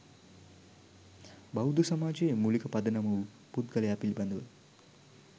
බෞද්ධ සමාජයේ මූලික පදනම වූ පුද්ගලයා පිළිබඳව